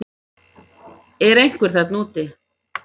Er einhver þarna úti